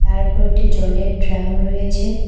তার উপর একটি জলের ড্রাম রয়েছে।